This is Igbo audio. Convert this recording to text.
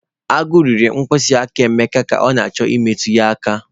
Agu riri mkpịsị aka Emeka ka ọ na-achọ imetụ ya aka